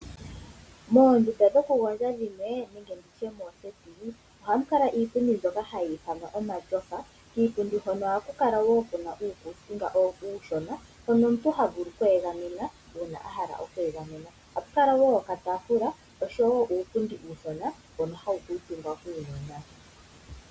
Moondunda dhoku gondja dhimwe nenge nditye mooseti ohamu kala iipundi mbyoka hayi ithanwa omatyofa kiipundi hono ohaku kala kuna uukusinga uushona hono omuntu ha vulu oku egamena uuna a hala oku egamena ohapu kala nokatafula nuupundi uushona mbono hawu kuutumbwa kuunona.